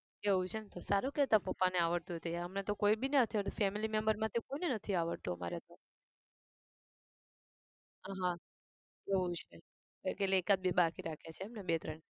એવું છે એમ તો સારું કહેવાય તારા પપ્પાને આવડતું હોય તો. અમને તો કોઈ બી ને નથી આવડતું family number માંથી કોઈ ને નથી આવડતું અમારે તો. હા એવું છે કે એટલે એકાદ બે બાકી રાખ્યા છે બે ત્રણ